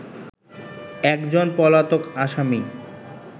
একজন পলাতক আসামী